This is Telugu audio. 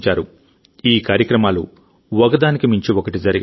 ఈ కార్యక్రమాలు ఒక దానికి మించి ఒకటి జరిగాయి